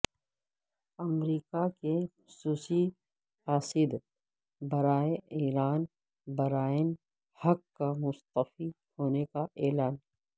امریکہ کے خصوصی قاصد برائے ایران برائن ہک کا مستعفی ہونے کا اعلان